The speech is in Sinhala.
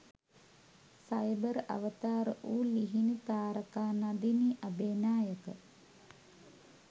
සයිබර් අවතාර වූ ලිහිනි තාරකා නදිනි අබේනායක